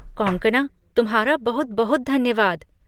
कॉन्कॉना, तुम्हारा बहुत बहुत धन्यवाद!